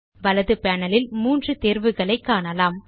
வலது பேனல் இல் மூன்று தேர்வுகளை காணலாம்